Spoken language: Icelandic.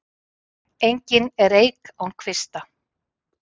Engin er eik án kvista.